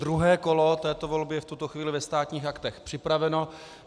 Druhé kolo této volby je v tuto chvíli ve Státních aktech připraveno.